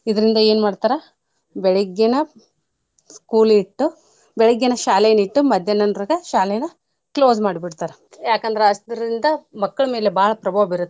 ಇದ್ರಿಂದ ಏನ್ ಮಾಡ್ತಾರ ಬೆಳಿಗ್ಗೆನ school ಇಟ್ಟು ಬೆಳಿಗ್ಗೆನ ಶಾಲೆನ ಇಟ್ಟು ಮದ್ಯಾನ ನಂತ್ರಗ close ಮಾಡ್ಬಿಡ್ತಾರ ಯಾಕಂದ್ರ ಇಂದ ಮಕ್ಕಳ್ ಮೇಲೆ ಬಾಳ್ ಪ್ರಭಾವ ಬೀರುತ್ತ.